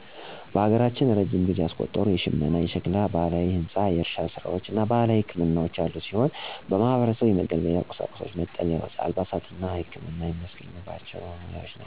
በሀገራችን እረጅም ጊዜ ያስቆጠሩ የሽመና፣ የሸክላ፣ ባህላዊ ህንፃ፣ የእርሻ ስራዎች እና ባህላዊ ህክምናዎች ያሉ ሲሆን ማህበረሰቡ የመገልገያ ቁሳቁሶችን፣ መጠለያዎች፣ አልባሳትን እና ህክመናን የሚያገኝባቸው ናቸው።